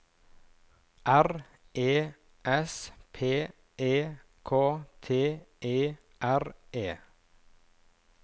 R E S P E K T E R E